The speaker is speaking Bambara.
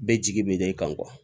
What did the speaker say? Bɛɛ jigi bɛ ne kan